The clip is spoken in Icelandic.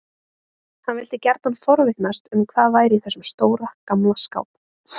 Hann vildi gjarnan forvitnast um hvað væri í þessum stóra, gamla skáp.